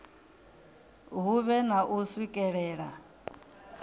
hu vhe na u swikelela